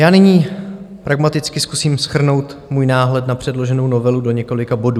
Já nyní pragmaticky zkusím shrnout svůj náhled na předloženou novelu do několika bodů.